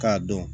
K'a dɔn